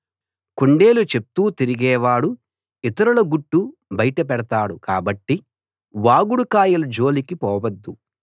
కొండేలు చెప్తూ తిరిగేవాడు ఇతరుల గుట్టు బయట పెడతాడు కాబట్టి వాగుడు కాయల జోలికి పోవద్దు